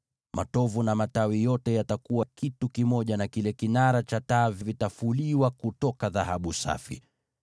Matovu na matawi yote yatakuwa kitu kimoja na kile kinara cha taa, yakifuliwa kwa dhahabu safi.